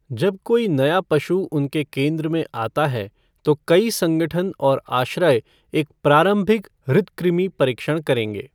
जब कोई नया पशु उनके केंद्र में आता है तो कई संगठन और आश्रय एक प्रारंभिक हृद्कृमि परीक्षण करेंगे।